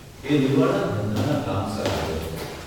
એ Nevada ધંધાના કામસર આવ્યો હતો.